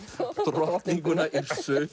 drottninguna